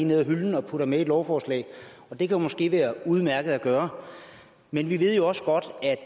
ned af hylden og putter med i lovforslaget det kan måske være udmærket at gøre men vi ved jo også godt